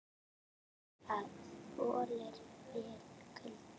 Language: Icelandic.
Það þolir vel kulda.